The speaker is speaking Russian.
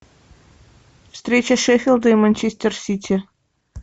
встреча шеффилда и манчестер сити